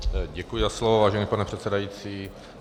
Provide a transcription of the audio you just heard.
Děkuji za slovo, vážený pane předsedající.